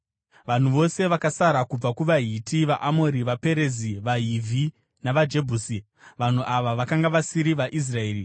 Vanhu vose vakasara kubva kuvaHiti, vaAmori, vaPerizi, vaHivhi navaJebhusi (vanhu ava vakanga vasiri vaIsraeri)